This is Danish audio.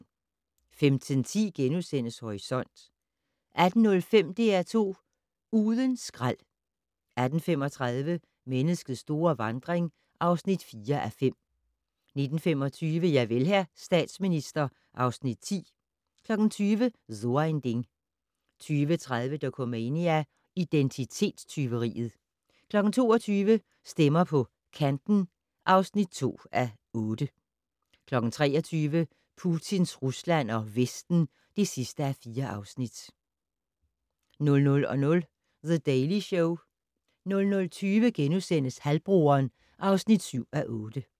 15:10: Horisont * 18:05: DR2 Uden skrald 18:35: Menneskets store vandring (4:5) 19:25: Javel, hr. statsminister (Afs. 10) 20:00: So ein Ding 20:30: Dokumania: Identitetstyveriet 22:00: Stemmer på Kanten (2:8) 23:00: Putins Rusland og Vesten (4:4) 00:00: The Daily Show 00:20: Halvbroderen (7:8)*